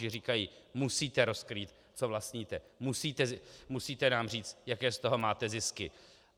Že říkají: Musíte rozkrýt, co vlastníte, musíte nám říct, jaké z toho máte zisky!